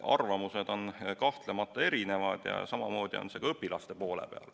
Arvamused on kahtlemata erinevad ja samamoodi on see ka õpilaste hulgas.